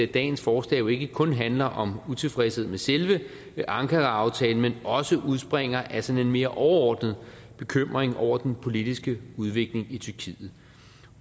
dagens forslag jo ikke kun handler om utilfredshed med selve ankaraaftalen men også udspringer af sådan en mere overordnet bekymring over den politiske udvikling i tyrkiet